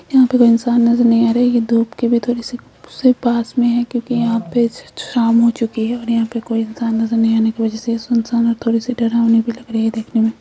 यहां पर कोई इंसान नजर नहीं आ रहा है। ये धूप के भी थोड़े से से पास में है क्योंकि यहां पे शाम हो चुकी है और यहां पे कोई इंसान नजर नहीं आने की वजह से सुनसान और थोड़ी सी डरावनी भी लग रही है देखने में।